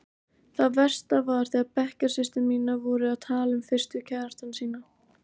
Það versta var þegar bekkjarsystur mínar voru að tala um fyrstu kærastana sína.